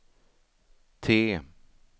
T